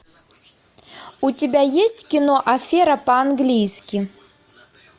у тебя есть кино афера по английски